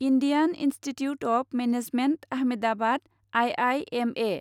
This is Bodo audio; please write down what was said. Indian Institute of Management Ahmedabad I I M A